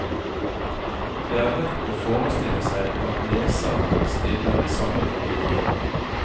Det er lett å forestille seg at leserne stiller i samme kategori.